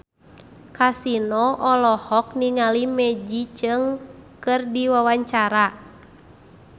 Kasino olohok ningali Maggie Cheung keur diwawancara